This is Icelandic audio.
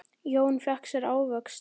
Jón fékk sér ávöxt.